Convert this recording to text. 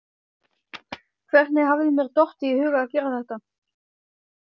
Hvernig hafði mér dottið í hug að gera þetta?